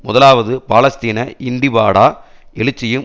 முதலாவது பாலஸ்தீன இண்டிபாடா எழுச்சியும்